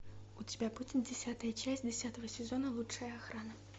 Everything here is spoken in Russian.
у тебя будет десятая часть десятого сезона лучшая охрана